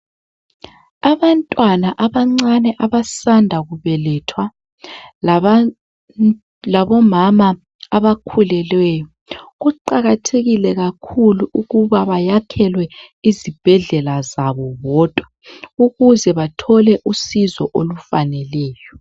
Abantwana abancane abasanda kubelethwa labomama abakhulileyo kuqakathekile kakhulu ukuba bayakhelwe isibhedlela sabo bodwa ukuze bathole usizo olufaneleyo.